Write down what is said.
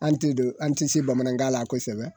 An tɛ don an ti se bamanankan la kosɛbɛ